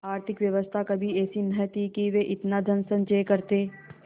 आर्थिक व्यवस्था कभी ऐसी न थी कि वे इतना धनसंचय करते